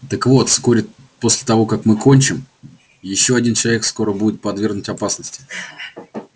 так вот вскоре после того как мы кончим ещё один человек будет подвергнут опасности